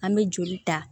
An bɛ joli ta